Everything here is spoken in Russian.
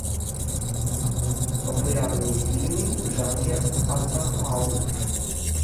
популярные фильмы в жанре артхаус